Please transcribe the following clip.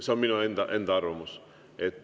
See on minu enda arvamus.